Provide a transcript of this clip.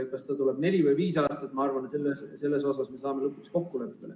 Kas ta tuleb neli või viis aastat, ma arvan, et selles saame lõpuks kokkuleppele.